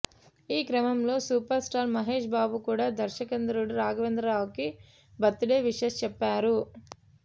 ఈ క్రమంలో superstar Mahesh Babu కూడా దర్శకేంద్రుడు రాఘవేంద్ర రావుకి బర్త్ డే విషెస్ చెప్పారు